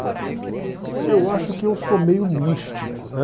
E eu acho que eu sou meio místico, né?